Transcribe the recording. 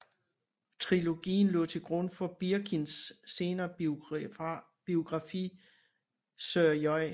Trilogien lå til grund for Birkins senere biografi Sir J